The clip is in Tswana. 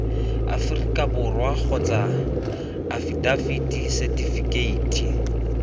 aforika borwa kgotsa afitafiti setifikeiti